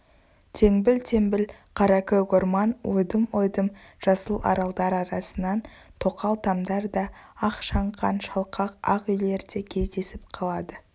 теңбіл-теңбіл қаракөк орман ойдым-ойдым жасыл аралдар арасынан тоқал тамдар да ақ шаңқан шалқақ ақ үйлер де кездесіп қалады